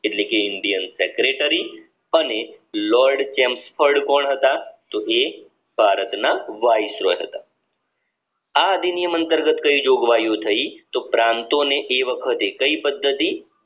એટલે કે indian secretary અને લોર્ડ ચેમ્પ ફોર્ડ કોણ હતા તો કે એ વાઇસરોય હતા આ અધિનિયમ અંતર્ગત કઈ જોગવાઈઓ થઇ તો પ્રાંતો ને એ વખતે કઈ પદ્ધતિ